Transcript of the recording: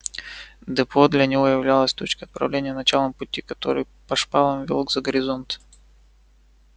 депо для него являлось точкой отправления началом пути который по шпалам вёл за горизонт